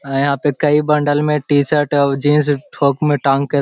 अ यहाँ पे कई बंडल में टी-शर्ट और जीन्स थोक में टांग के --